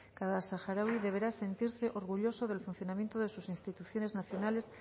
cada saharaui deberá sentirse orgulloso del funcionamiento de sus instituciones nacionales